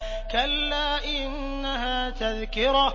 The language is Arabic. كَلَّا إِنَّهَا تَذْكِرَةٌ